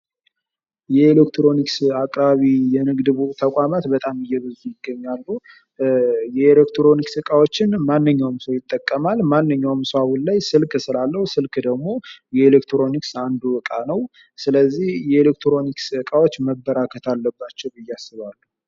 የኤሌክትሮኒክስ አቅራቢ የንግድ ተቋማት በጣም እየበዙ ይገኛሉ ፤ የኤሌክትሮኒክስ እቃዎችን ማንኛውም ሰው ይጠቀማል ፤ ማንኛውም ሰው አሁን ላይ ስልክ ስላለው ስልክ ደግሞ የኤሌክትሮኒክስ እቃ ነው ስለዚህ የኤሌክትሮኒክስ እቃዎች መበራከት አለባቸው ብዬ አስባለሁ።